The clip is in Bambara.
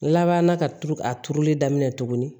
Laban na ka turu a turuli daminɛ tugunni